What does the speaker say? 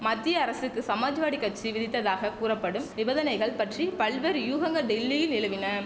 மத்திய அரசுக்கு சமாஜ்வாடி கச்சி விதித்ததாக கூறப்படும் நிபந்தனைகள் பற்றி பல்வேறு யூகங்க டில்லியில் நிலவின